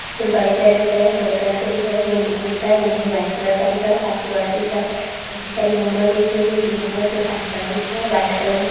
कुछ बड़े पर दिख रहे हे कुछ हरे कलर दिख रहे हे बिल्डिंग दिख रहा हे बिल्डिंग वाट कलर का दिख रहा हे काफी सारी विंडो दिख रहाई हे कुछ आसमान दिख रहा हे वाट कलर --